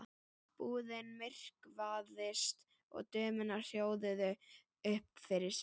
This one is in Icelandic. Búðin myrkvaðist og dömurnar hljóðuðu upp fyrir sig.